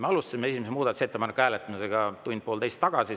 Me alustasime esimese muudatusettepanekute hääletamist tund-poolteist tagasi.